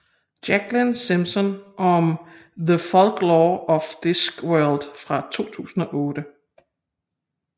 Jacqueline Simpson om The Folklore of Discworld fra 2008